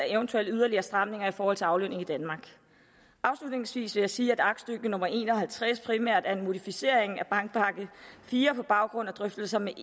eventuelle yderligere stramninger i forhold til aflønning i danmark afslutningsvis vil jeg sige at aktstykke nummer en og halvtreds primært er en modificering af bankpakke iv på baggrund af drøftelser med